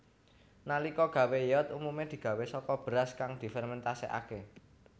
Nalika gawé yeot umume digawé saka beras kang difermentasekake